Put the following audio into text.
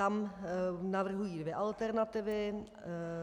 Tam navrhují dvě alternativy